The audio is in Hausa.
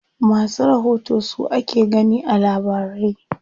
Masu rahoto su ake gani a labarai.